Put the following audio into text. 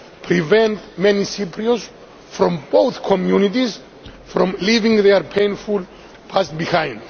prevent many Cypriots from both communities from leaving their painful past behind.